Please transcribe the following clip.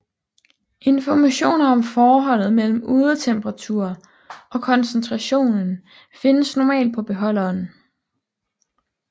Informationer om forholdet mellem udetemperatur og koncentration findes normalt på beholderen